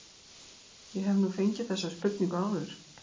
Ég hef nú fengið þessa spurningu áður.